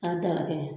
A dala kɛ